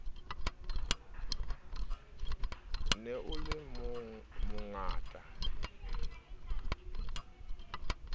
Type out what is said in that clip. ne o le mongata e